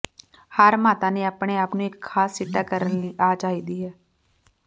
ਹਰ ਮਾਤਾ ਨੇ ਆਪਣੇ ਆਪ ਨੂੰ ਇੱਕ ਖਾਸ ਸਿੱਟਾ ਕਰਨ ਲਈ ਆ ਚਾਹੀਦਾ ਹੈ